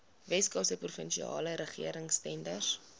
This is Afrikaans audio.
weskaapse provinsiale regeringstenders